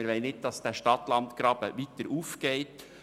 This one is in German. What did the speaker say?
Wir wollen nicht, dass sich der Stadt-LandGraben weiter öffnet.